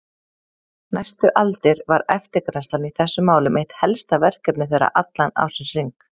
Næstu aldir var eftirgrennslan í þessum málum eitt helsta verkefni þeirra allan ársins hring.